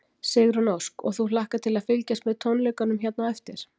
Sigrún Ósk: Og þú hlakkar til að fylgjast með tónleikunum hérna á eftir?